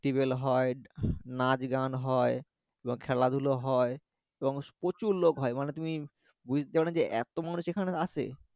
হয় নাচ গান হয় এবং খেলা ধুলো হয় এবং প্রচুর লোক মানে তুমি যে এতো মানুষ সেখানে আসে